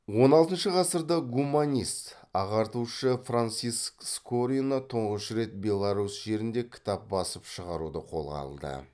он алтыншы ғасырда гуманист ағартушы франциск скорина тұңғыш рет беларусь жерінде кітап басып шығаруды қолға алды